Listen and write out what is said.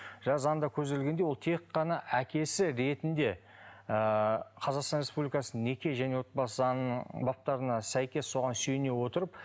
жаңа заңда көзделгендей ол тек қана әкесі ретінде ыыы қазақстан республикасының неке және отбасы заңының баптарына сәйкес соған сүйене отырып